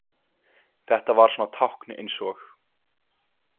Þetta var svona tákn eins og.